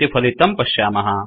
इति फलितं पश्यामः